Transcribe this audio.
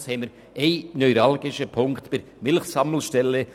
Höchstens haben wir einen neuralgischen Punkt bei der Milchsammelstelle.